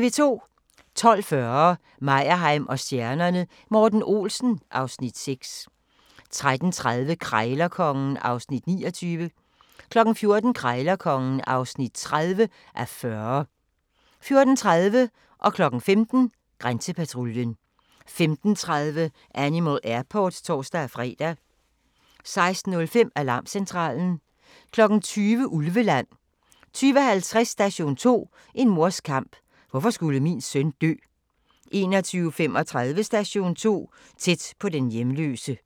12:40: Meyerheim & stjernerne: Morten Olsen (Afs. 6) 13:30: Krejlerkongen (29:40) 14:00: Krejlerkongen (30:40) 14:30: Grænsepatruljen 15:00: Grænsepatruljen 15:30: Animal Airport (tor-fre) 16:05: Alarmcentralen 20:00: Ulveland 20:50: Station 2: En mors kamp - hvorfor skulle min søn dø? 21:35: Station 2 - Tæt på den hjemløse